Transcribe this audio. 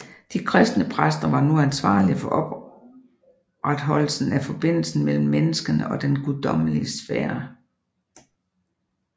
De kristne præster var nu ansvarlige for opreholdelsen af forbindelsen mellem menneskene og den guddommelige sfære